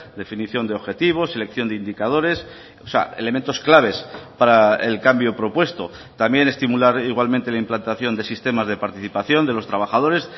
definición de objetivos selección de indicadores o sea elementos claves para el cambio propuesto también estimular igualmente la implantación de sistemas de participación de los trabajadores